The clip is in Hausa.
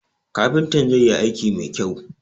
Kafintan zai yi aiki mai kyau